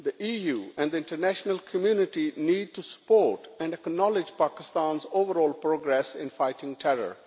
The EU and the international community need to support and acknowledge Pakistan's overall progress in fighting terror.